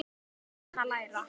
Ég er enn að læra.